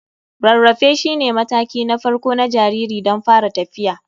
Rarrafe shine mataki na farko na jariri don fara tafiya.